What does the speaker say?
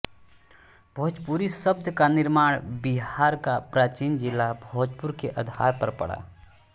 भोजपुरी शब्द का निर्माण बिहार का प्राचीन जिला भोजपुर के आधार पर पड़ा